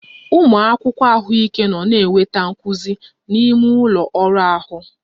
Ụmụ akwụkwọ ahụike nọ na-enweta nkuzi n'ime ụlọ ọrụ ahụ